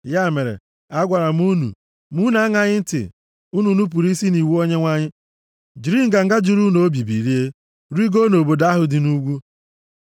Ya mere, agwara m unu, ma unu aṅaghị ntị. Unu nupuru isi nʼiwu Onyenwe anyị, jiri nganga juru unu obi bilie, rigoo nʼobodo ahụ dị nʼugwu.